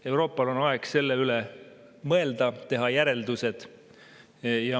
Euroopal on aeg selle üle mõelda, teha oma järeldused.